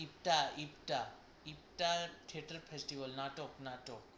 IFTA IFTA IFTA theatre এ festival নাটক নাটক।